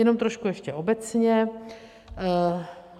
Jenom trošku ještě obecně.